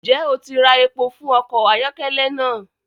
Njẹ o ti rá èpò fún ọkọ ayọkẹlẹ naa!?